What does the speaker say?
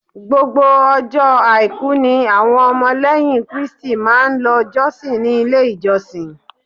Gbogbo ọjọ́ àìkú ni àwọn ọmọ lẹ́yìn Kristi máa lọ jọ́sìn ni ilé ìjọsìn.